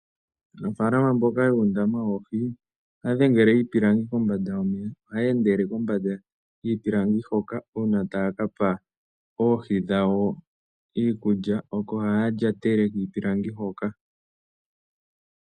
Aanafalama mboka yuundama woohi, ohaya dhengele iipilangi kombanda yomeya, ohaya endele kombanda yiipilangi hoka, uuna taya pa oohi dhawo iikulya, oko haya lyatele kiipilangi hoka.